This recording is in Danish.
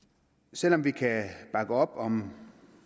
selv om vi kan bakke op om